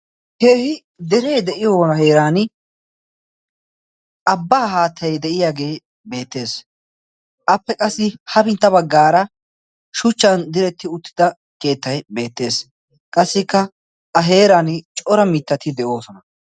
Keehi dere de'iyoo heeran abbaa haattay de'iyaagee beettees. Appe qassi hapintta baggaara shuchchan diretti uttida keettay beettees. Qassikka a heeran cora mittati de'oosona.